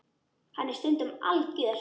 Hann er stundum algjör.